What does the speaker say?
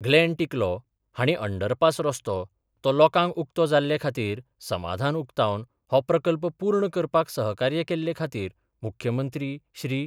Glenn Ticlo हांणी underpass रस्तो तो लोकांक उक्तो जाल्ले खातीर समाधान उक्तावन हो प्रकल्प पूर्ण करपाक सहकार्य केल्ले खातीर मुख्यमंत्री श्री.